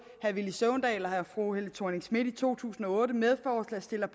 herre villy søvndal og fru helle thorning schmidt i to tusind og otte medforslagsstillere